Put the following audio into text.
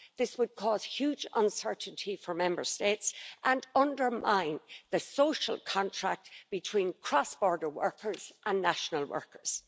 This would cause huge uncertainty for Member States and undermine the social contract between cross-border workers and national workers.